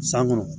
San kɔnɔ